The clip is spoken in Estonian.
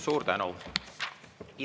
Suur tänu!